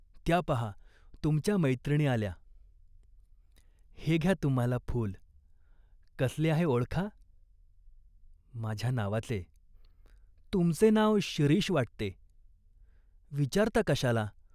त्या पाहा तुमच्या मैत्रिणी आल्या." "हे घ्या तुम्हाला फूल, कसले आहे ओळखा." " माझ्या नावाचे." "तुमचे नाव शिरीष वाटते?" "विचारता कशाला ?